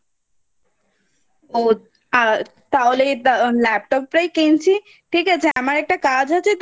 ও আ তাহলে Laptop টাই কিনছি ঠিক আছে আমার একটা কাজ আছে